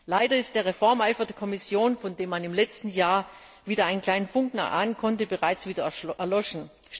Leider ist der Reformeifer der Kommission, von dem man im letzten Jahr wieder einen kleinen Funken erahnen konnte, bereits wieder erloschen.